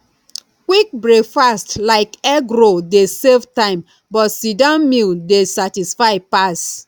quick breakfast like egg roll dey save time but sitdown meal dey satisfy pass